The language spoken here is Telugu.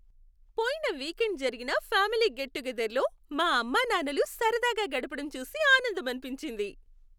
పోయిన వీకెండ్ జరిగిన ఫ్యామిలీ గెట్ టుగెదర్లో మా అమ్మానాన్నలు సరదాగా గడపడం చూసి ఆనందమనిపించింది.